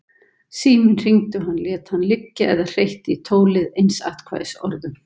Síminn hringdi og hann lét hann liggja eða hreytti í tólið einsatkvæðisorðum.